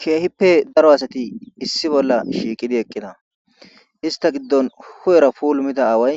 keehippe daro asati issi bolla shiiqidi eqqida ista giddon hu7era pulumita aaway